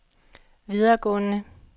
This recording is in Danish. videregående